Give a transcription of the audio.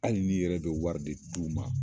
Hali n'i yɛrɛ de wari de d'u ma.